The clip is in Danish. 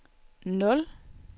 nul